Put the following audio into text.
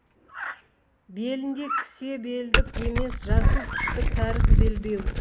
белінде кісе белдік емес жасыл түсті кәріс белбеу